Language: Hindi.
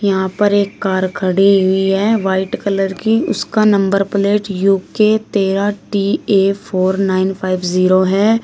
यहां पर एक कार खड़ी हुई है व्हाइट कलर की उसका नम्बर प्लेट यू के तेरहा T A four nine five zero है।